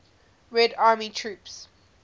red army troops